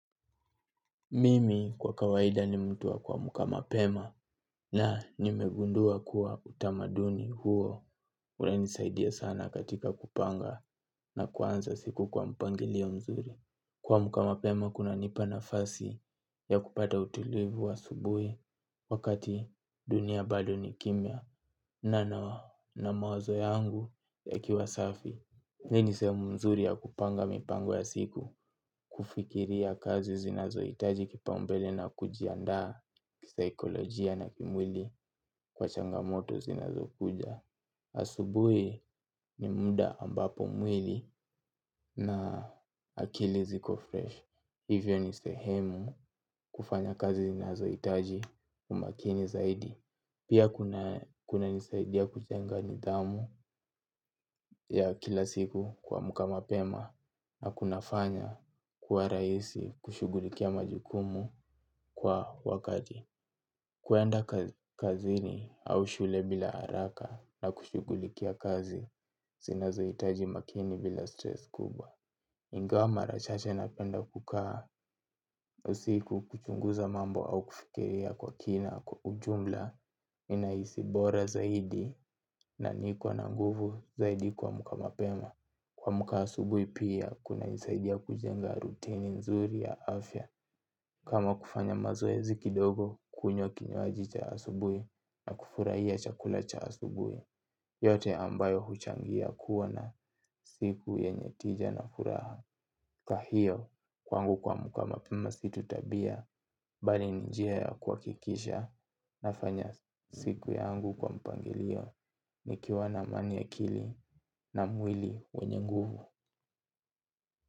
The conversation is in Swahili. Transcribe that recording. Mimi kwa kawaida ni mtu wa kuamka mapema na nimegundua kuwa utamaduni huo urenisaidia sana katika kupanga na kuanza siku kwa mpangilio mzuri. Kwamka mapema kunanipa nafasi ya kupata utulivu wa asubui. Wakati dunia bado ni kimya na na mawazo yangu yakiwa safi. Hii ni sehemu nzuri ya kupanga mipango ya siku, kufikiria kazi zinazo itaji kipaumbele na kujiandaa kisaikolojia na kimwili kwa changamoto zinazo kuja. Asubui ni muda ambapo mwili na akili ziko fresh. Hivyo ni sehemu kufanya kazi zinazo itaji umakini zaidi. Pia kuna nisaidia kutenga nidhamu ya kila siku kwamka mapema na kunafanya kuwa raisi kushugulikia majukumu kwa wakati. Kuenda kazini au shule bila araka na kushugulikia kazi zina zoitaji makini bila stress kubwa. Ingawa mara chache napenda kukaa usiku kuchunguza mambo au kufikiria kwa kina kwa ujumla ninaisi bora zaidi na nikona nguvu zaidi kwamka mapeema. Kwamka asubui pia kuna nisaidia kujenga rutini nzuri ya afya. Kama kufanya mazoezi kidogo kunywa kinywaji cha asubui na kufurahia chakula cha asubui. Yote ambayo huchangia kuwa na siku yenye tija na furaha. Kwa hiyo kwangu kwamka mapema si tu tabia. Bali ni njia ya kwakikisha. Nafanya siku yangu kwa mpangilio. Nikiwa na amani ya akili na mwili wenye nguvu.